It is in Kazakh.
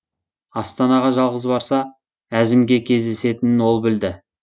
астанаға жалғыз барса әзімге кездесетінін ол білді